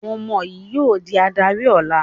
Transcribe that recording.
Àwọn ọmọ yín yóò di adarí ọ̀la!